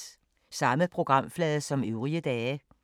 Samme programflade som øvrige dage